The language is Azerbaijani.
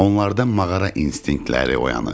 Onlarda mağara instinktləri oyanır.